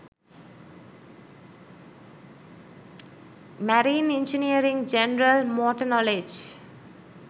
marine engineering general motor knowledge